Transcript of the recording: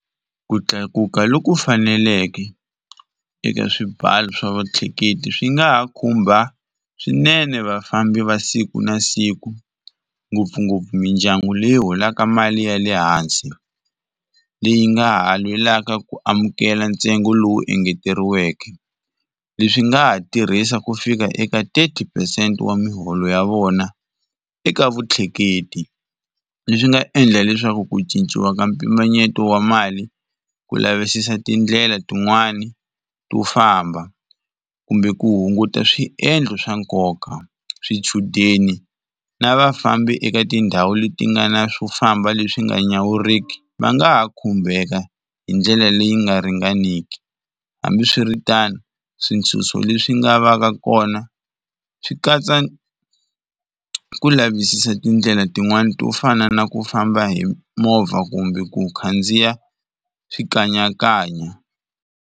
Ku tlakuka loku faneleke eka swibalo swa vatleketli swi nga ha khumba swinene vafambi va siku na siku ngopfungopfu mindyangu leyi holaka mali ya le hansi, leyi nga ha lwelaka ku amukela ntsengo lowu engeteriweke. Leswi swi nga ha tirhisa ku fika eka thirty percent wa muholo ya vona eka vutleketli, leswi nga endla leswaku ku cinciwa ka mpimanyeto wa mali ku lavisisa tindlela tin'wani to famba kumbe ku hunguta swiendlo swa nkoka, swichudeni na vafambi eka tindhawu leti nga na swo famba leswi nga nyawuriki va nga ha khumbeka hi ndlela leyi nga ringaneki. Hambiswiritano swintshuxo leswi nga va ka kona swi katsa ku lavisisa tindlela tin'wani to fana na ku famba hi movha kumbe ku khandziya swikanyakanya.